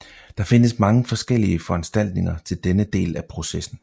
Der findes mange forskellige foranstaltninger til denne del af processen